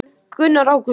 Gunnar: Ágúst?